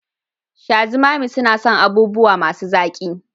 Shazumami suna son abubuwa masu zaƙi